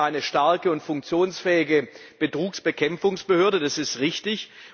Wir brauchen eine starke und funktionsfähige Betrugsbekämpfungsbehörde, das ist richtig.